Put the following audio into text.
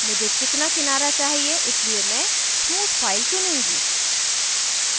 मुझे चिकना किनारा चाहिए इसलिए मैं स्मूथ फाइल चुनूँगी